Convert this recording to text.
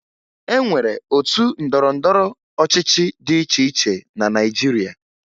E nwere otu ndọrọndọrọ ọchịchị dị iche iche na Naịjirịa